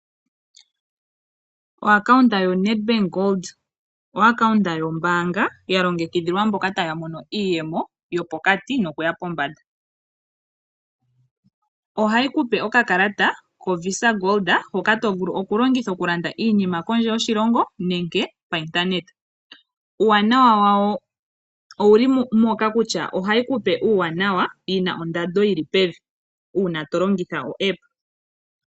Okambo kombanga netbank hoka koshingoli okambo kombanga kalongekidhilwa mboka hayamono iyemo yopokati nokuya pombanda ohayikupe okakalata kovisa hoka koshingoli hoka tovulu oku landa nako inima kondje yoshilongo nenge payindaneta uuwanawa wuli moka kutya hayikupe ondando yili pevi tolongitha epanja lyoma yalulilo gombanga